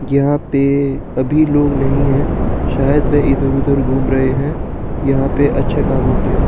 यहाँ पे अभी लोग नहीं हैं शायद वे इधर-उधर घूम रहे हैं यहाँ पे अच्छे काम होते हैं।